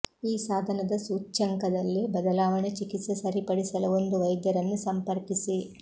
ಈ ಸಾಧನದ ಸೂಚ್ಯಂಕದಲ್ಲಿ ಬದಲಾವಣೆ ಚಿಕಿತ್ಸೆ ಸರಿಪಡಿಸಲು ಒಂದು ವೈದ್ಯರನ್ನು ಸಂಪರ್ಕಿಸಿ